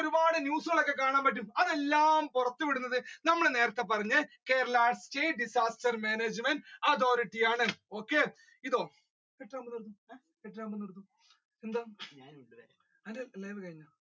ഒരുപാട് ഒക്കെ കാണാൻ പറ്റും അതെല്ലാം പുറത്തു വിടുന്നത് നമ്മൾ നേരത്തെ പറഞ്ഞ Kerala state disaster management authority ആണ്.